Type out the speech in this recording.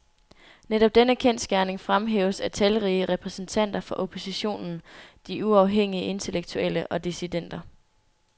Netop denne kendsgerning fremhæves af talrige repræsentanter for oppositionen, de uafhængige intellektuelle og dissidenter.